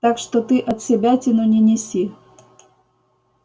так что ты отсебятину не неси